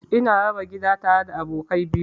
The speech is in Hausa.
Ina raba gida tare da abokai biyu.